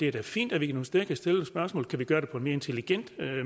det er da fint at vi nogle steder kan stille spørgsmål kan gøre det på en mere intelligent